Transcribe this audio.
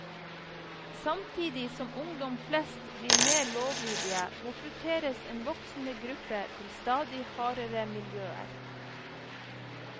Samtidig som ungdom flest blir mer lovlydige, rekrutteres en voksende gruppe til stadig hardere miljøer.